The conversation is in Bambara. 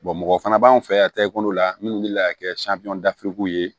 mɔgɔ fana b'an fɛ yan ta ekɔli la minnu wulila ka kɛ ye